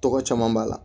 Tɔgɔ caman b'a la